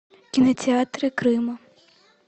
кинотеатры крыма